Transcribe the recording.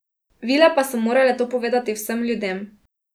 Vile pa so morale to povedati vsem ljudem.